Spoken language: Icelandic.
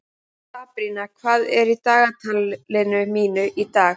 Sabrína, hvað er í dagatalinu mínu í dag?